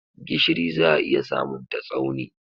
Gishiri za a iya samunta Tsauni.